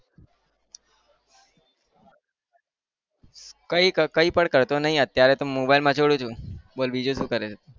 કઈ કઈ પણ કરતો નહિ અત્યારે તો મોબાઇલ મચોળું છુ. બોલ બીજું શું કરે છે?